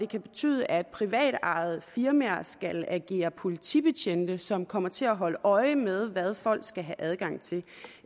kan betyde at privatejede firmaer skal agere politibetjente som kommer til at holde øje med hvad folk skal have adgang til